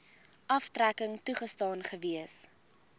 aftrekking toegestaan gewees